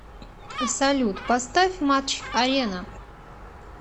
салют поставь матч арена